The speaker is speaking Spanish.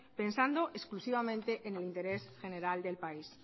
pensando exclusivamente en el interés general del país